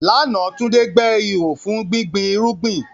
Lánàá, Tunde gbẹ́ ihò fún gbígbin irúgbìn.